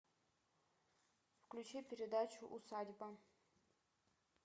включи передачу усадьба